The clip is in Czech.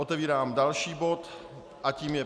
Otevírám další bod a tím je